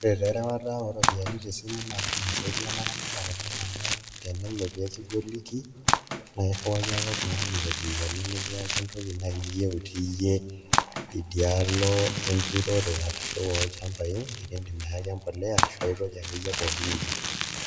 Ore taa erewata ooropiyiani tesimu naa kiidim aisaidia ilaramatak oleng' amu tenelo nikigoliki naa irriwaki oltung'anii iropiyiani nikirriwaki naai entoki niyieu itii ake idialo enturore arashu olchambai nikiidim ayaki embolea arashu pooki toki akeyie niyieu.